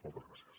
moltes gràcies